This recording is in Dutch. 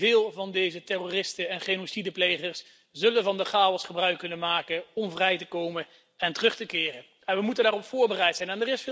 Veel van deze terroristen en genocideplegers zullen van de chaos gebruik kunnen maken om vrij te komen en terug te keren. We moeten daarop voorbereid zijn.